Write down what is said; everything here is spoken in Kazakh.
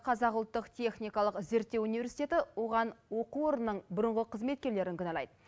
қазақ ұлттық техникалық зерттеу университеті оған оқу орнының бұрынғы қызметкерлерін кінәлайды